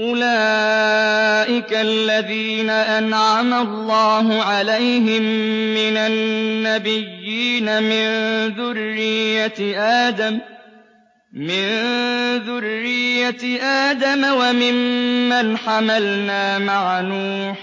أُولَٰئِكَ الَّذِينَ أَنْعَمَ اللَّهُ عَلَيْهِم مِّنَ النَّبِيِّينَ مِن ذُرِّيَّةِ آدَمَ وَمِمَّنْ حَمَلْنَا مَعَ نُوحٍ